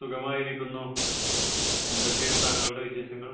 സുഖമായിരിക്കുന്നു എന്തൊക്കെയാണ് താങ്കളുടെ വിശേഷങ്ങൾ